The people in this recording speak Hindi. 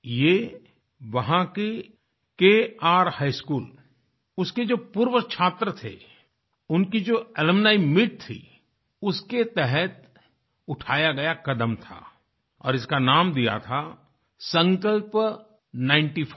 ये वहां के kर हिघ स्कूल उसके जो पूर्वछात्र थे उनकी जो अलुम्नी मीत थी उसके तहत उठाया गया कदम था और इसका नाम दिया था संकल्प नाइनटी फाइव